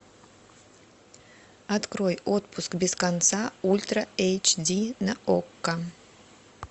открой отпуск без конца ультра эйч ди на окко